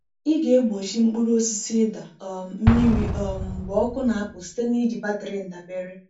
Ị ga-egbochi mkpụrụ osisi ịda um mmiri um mgbe ọkụ na-apụ site n’iji batrị ndabere.